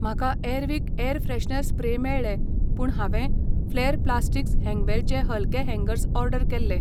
म्हाका Airwick air freshener spray मेळ्ळें पूण हांवें फ्लॅर प्लास्टिक्स हँगवेलचे हलके हँगर्स ऑर्डर केल्लें.